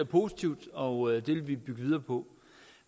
positivt og det vil vi bygge videre på